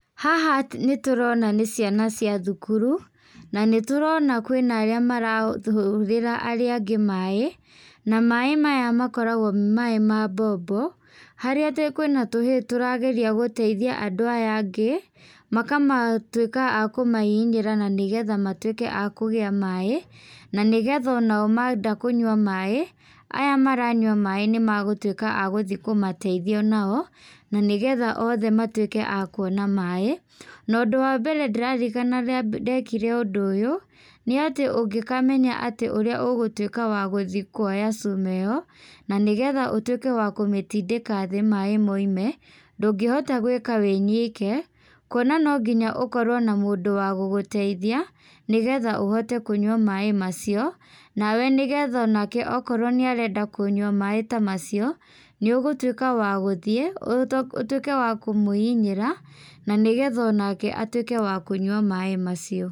Haha nĩ tũrona nĩ ciana cia thukuru na nĩ tũrona kwĩna arĩa marahũrĩra arĩa angĩ maaĩ na maaĩ maya makoragwo me maaĩ ma mbombo, harĩa atĩ kwĩ na tũhĩ tũrageria gũteithia andũ aya angĩ makamatuĩka akũmahihinyĩra nĩgetha matuĩke akũgĩa maaĩ, na nĩgetha onao menda kũnyua maaĩ aya maranyua maaĩ nĩmagũtuĩka agũthiĩ kũmateithia onao, na nĩgetha othe matuĩke akuona maaĩ. Na ũndũ wa mbere ndĩraririkana rĩa mbere ndekire ũndũ ũyũ nĩ atĩ ũngĩkamenya atĩ ũrĩa ũgũtuĩka wa gũthiĩ kuoya cuma ĩ yo na nĩgetha ũtuĩke wa kũmĩtindĩka thĩ maaĩ moime ndũngĩhota gwĩka wĩ nyike kuona no nginya ũkorwo na mũndũ wa gũgũteithia nĩgetha ũhote kũnyua maaĩ macio na we nĩgetha o nake okorwo nĩ arenda kũnyua maaĩ ta macio nĩ ũgũtuĩka wa guthiĩ ũtuĩke wa kũmũhihinyĩra na nĩgetha o nake atuĩke wa kũnyua maaĩ macio.